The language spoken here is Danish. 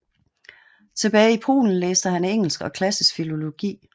Tilbage i Polen læste han engelsk og klassisk filologi